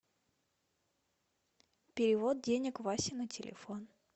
перевод денег васе на телефон